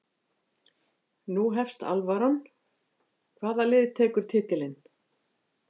Nú hefst alvaran, hvaða lið tekur titilinn?